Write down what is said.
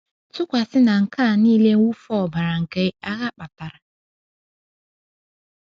Tụkwasị na nke a nile mwụfu ọbara nke agha kpatara.